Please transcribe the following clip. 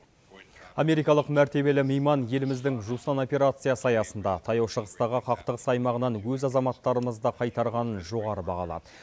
америкалық мәртебелі мейман еліміздің жусан операциясы аясында таяу шығыстағы қақтығыс аймағынан өз азаматтарымызды қайтарғанын жоғары бағалады